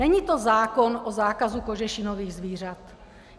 Není to zákon o zákazu kožešinových zvířat.